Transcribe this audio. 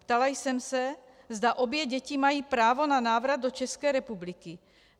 Ptala jsem se, zda obě děti mají právo na návrat do České republiky.